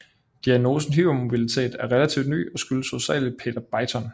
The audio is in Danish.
Diagnosen hypermobilitet er relativt ny og skyldes hovedsageligst Peter Beighton